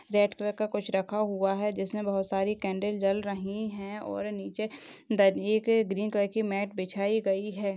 Red colour का कुछ रखा हुआ है जिसमें बहुत सारी कॅण्डल जल रही है और नीचे अह दरिये पे ग्रीन कलर की मॅट बिछाई गयी है।